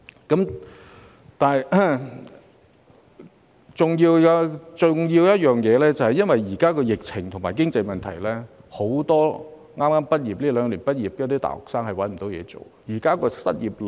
同樣重要的一點是，現在因為疫情和經濟問題，很多這兩年畢業的大學生找不到工作。